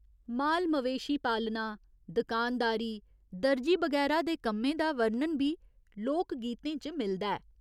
माल मवेशी पालना, दकानदारी, दरजी बगैरा दे कम्में दा वर्णन बी लोकगीतें च मिलदा ऐ।